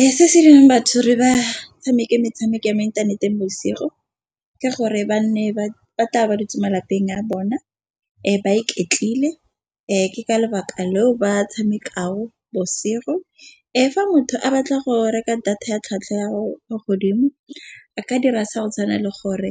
Ee, se se dirang batho re ba tshameke metshameko ya mo inthaneteng bosigo ke gore ba nne ba tla ba dutse malapeng a bona e ba iketlile. Ke ka lebaka leo ba tshameka ao bosetlhogo fa motho a batla go reka data ya tlhwatlhwa ya ko godimo a ka dira sa go tshwana le gore